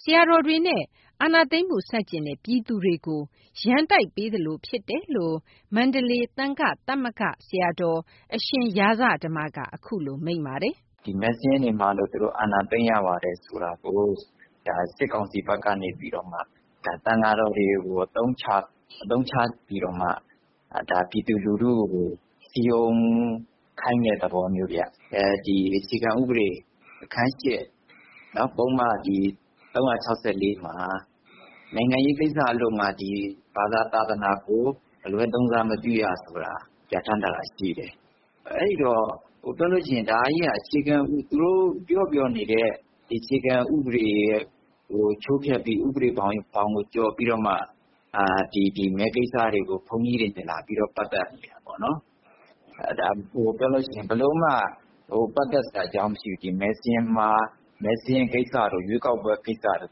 ဆရာတော်တွေနဲ့ အာဏာသိမ်းမှု ဆန့်ကျင်တဲ့ ပြည်သူတွေကို ရန်တိုက်ပေးသလို ဖြစ်တယ်လို့ မန္တလေး သံဃသမဂ္ဂက ဆရာတော် အရှင်ရာဇဓမ္မက အခုလိုမိန့်ပါတယ်။ “မဲစာရင်းတွေမှားလို့ သူတို့ အာဏာသိမ်းရပါတယ် ဆိုတာကို စစ်ကောင်စီဘက်ကနေပြီးတော့မှ သံဃာတော်တွေကို အသုံးချပြီးတော့မှ ပြည်သူလူထုကို စည်ရုံးခိုင်းတဲ့ သဘောမျိုးဗျ။ အခြေခံဥပဒေ အခန်း ၈၊ ပုဒ်မ ၃၆၄ မှာ နိုင်ငံရေးကိစ္စအလို့ငှာ ဘာသာ သာသနာကို အလွဲသုံးစားမပြုရဆိုတာ ပြဋ္ဌာန်းထားတာ ရှိတယ်။ ဒါကြီးက သူတို့ပြောပြောနေတဲ့ အခြေခံဥပဒေကို ချိုးဖျက်ပြီး ဥပဒေဘောင်ကို ကျော်ပြီးတော့မှ မဲကိစ္စတွေကို ဘုန်းကြီးတွေနဲ့ လာပြီး ပတ်သက်နေတာပေါ့နော်။ ဒါက ပြောလို့ရှိရင် ဘယ်လိုမှ ပတ်သက်စရာအကြောင်း မရှိဘူး။ မဲစာရင်းကိစ္စတို့ ရွေးကောက်ပွဲကိစ္စတို့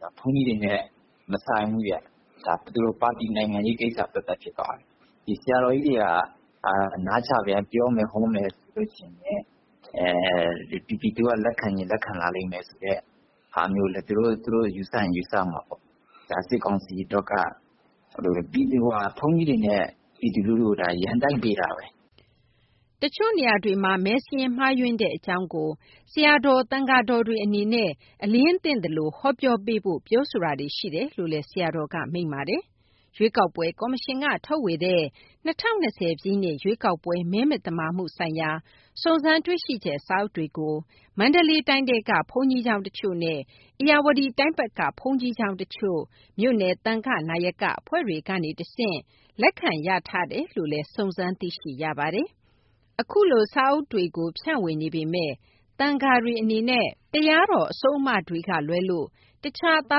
ဆိုတာ ဘုန်းကြီးတွေနဲ့ မဆိုင်ဘူးဗျ။ ဒါ ပါတီနိုင်ငံရေးကိစ္စ ဖြစ်သွားပြီ။ ဆရာတော်ကြီးတွေက နားချမယ်၊ ပြောမယ်၊ ဟောမယ်ဆိုရင် ပြည်သူက လက်ခံချင် လက်ခံလာလိမ့်မယ်လို့ သူတို့ ယူဆရင်လည်း ယူဆမှာပေါ့။ ဒါ စစ်ကောင်စီအတွက်က ဘုန်းကြီးတွေနဲ့ ပြည်သူကို ရန်တိုက်ပေးတာပဲ။” တချို့နေရာတွေမှာ မဲစာရင်းမှားယွင်းတဲ့ အကြောင်းကို ဆရာတော် သံဃာတော်တွေ အနေနဲ့ အလျင်းသင့်သလို ဟောပြောပေးဖို့ ပြောဆိုတာတွေ ရှိတယ်လို့လည်း ဆရာတော်က မိန့်ပါတယ်။ ရွေးကောက်ပွဲကော်မရှင်က ထုတ်ဝေတဲ့ ၂၀၂၀ ရွေးကောက်ပွဲ မဲမသမာမှုဆိုင်ရာ စုံစမ်းတွေ့ရှိချက် စာအုပ်တွေကို မန္တလေးတိုင်းထဲက ဘုန်းကြီးကျောင်းတချို့နဲ့ ဧရာဝတီတိုင်းဘက်က ဘုန်းကြီးကျောင်းတချို့ မြို့နယ်သံဃနာယက အဖွဲ့တွေကနေတဆင့် လက်ခံရထားတယ်လို့ စုံစမ်းသိရပါတယ်။ ခုလို စာအုပ်တွေကို ဖြန့်ဝေနေပေမယ့် သံဃာတွေအနေနဲ့ တရားတော် အဆုံးအမတွေကလွဲလို့ တခြား သာ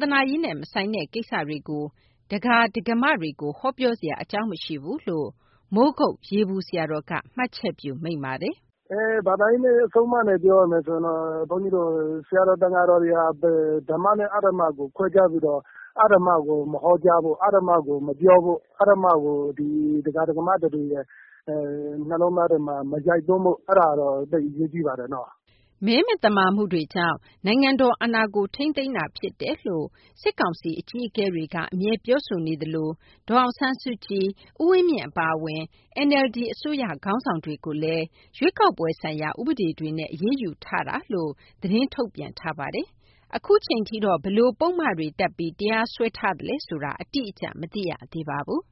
သနာရေးနဲ့ မဆိုင်တဲ့ ကိစ္စတွေကို ဒကာ၊ ဒကာမတွေကို ဟောပြောစရာအကြောင်း မရှိဘူးလို့ မိုးကုတ် ရေပူဆရာတော်က မှတ်ချက်ပြု မိန့်ပါတယ်။ “ဘာသာရေး အဆုံးအမနဲ့ ပြောရမယ်ဆိုရင်တော့ ဆရာတော် သံဃာတော်တွေဟာ ဓမ္မနဲ့ အဓမ္မကို ခွဲခြားပြီးတော့ အဓမ္မကို မဟောကြားဖို့၊ အဓမ္မကို မပြောဖို့၊ အဓမ္မကို ဒကာ ဒကာမတွေ နှလုံးသားတွေထဲ မရိုက်သွင်းဖို့ အဲ့ဒါကတော့ အရေးကြီးတယ်။” မဲမသမာမှုတွေကြောင့် နိုင်ငံတော်အာဏာကို ထိန်းသိမ်းထားတာဖြစ်တယ်လို့ စစ်ကောင်စီ အကြီးအကဲတွေက အမြဲပြောဆိုနေသလို ဒေါ်အောင်ဆန်းစုကြည်၊ ဦးဝင်းမြင့် အပါအဝင် NLD အစိုးရ ခေါင်းဆောင်တွေကိုလည်း ရွေးကောက်ပွဲဆိုင်ရာ ဥပဒေတွေနဲ့ အရေးယူထားတယ်လို့ သတင်းထုတ်ပြန်ထားပါတယ်။ ခုချိန်ထိတော့ ဘယ်လိုပုဒ်မတွေတပ်ပြီး တရားစွဲထားသလဲဆိုတာ အတိအကျ မသိရသေးပါဘူး။